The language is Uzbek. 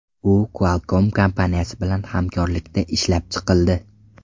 U Qualcomm kompaniyasi bilan hamkorlikda ishlab chiqildi.